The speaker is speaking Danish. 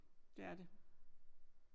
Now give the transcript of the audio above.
Det er det